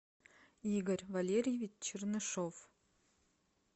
игорь валерьевич чернышов